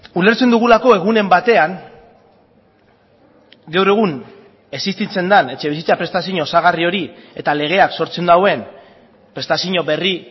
ulertzen dugulako egunen batean gaur egun existitzen den etxebizitza prestazio osagarri hori eta legeak sortzen duen prestazio berri